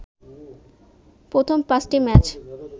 প্রথম ৫টি ম্যাচ